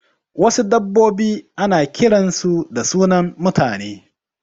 Wasu dabbobi ana kiran su da sunan mutane